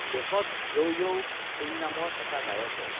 দেশত yo yo Singh নামৰ এটা গায়কে